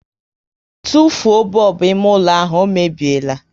Tụfuo bọlbụ ime ụlọ ahụ, ọ mebiela!